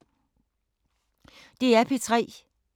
DR P3